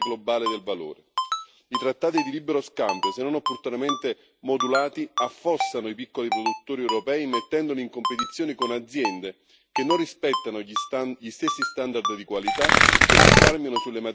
i trattati di libero scambio, se non opportunamente modulati, affossano i piccoli produttori europei, mettendoli in competizione con aziende che non rispettano gli stessi standard di qualità e che risparmiano sulle materie prime e sul lavoro.